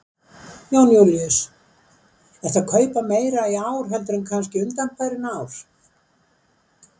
Jón Júlíus: Ertu að kaupa meira í ár heldur en kannski undanfarin ár?